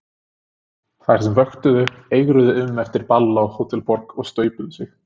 Þær sem vöktu eigruðu um eftir ball á Hótel Borg, og staupuðu sig.